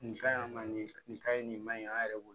Nin ka ɲi an ma nin ka ɲi nin man ɲi an yɛrɛ bolo